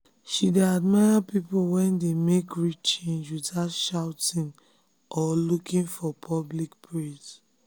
she dey admire people wey dey make real change without shouting or looking for public praise.